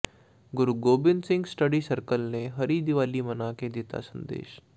ਗੁਰੂ Gobind Singh study circle ਨੇ ਹਰੀ ਦੀਵਾਲੀ ਮਨਾ ਕੇ ਦਿੱਤਾ ਸੰਦੇਸ਼